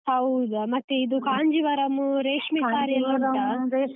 ಹೌದಾ, ಮತ್ತೆ ಇದು ಕಾಂಜೀವರಂ .